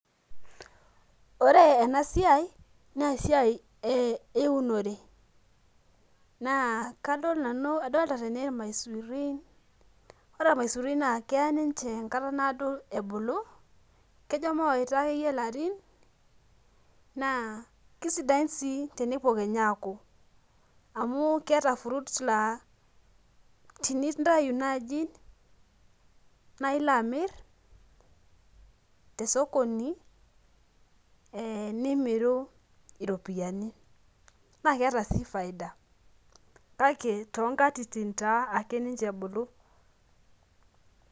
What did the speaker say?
Ore enasiai, nesiai eunore. Naa kadol nanu kadolta tene irmaisurin. Ore irmaisurin naa keya ninche enkata naado ebulu, kejo mawaita akeyie larin, naa kesidain si tenepuo kenya aku. Amu keeta fruits laa tinintayu naji, nailo amir tosokoni, eh nimiru iropiyiani. Na keeta si faida. Kake, tonkatitin taa ake ninche ebulu.